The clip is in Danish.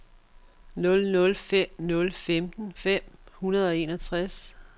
nul nul fem nul femten fem hundrede og enogtres